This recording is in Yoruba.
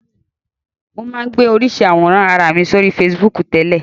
Mo máa ń gbé oríṣiríṣi àwòrán ara mi sórí Facebook tẹ́lẹ̀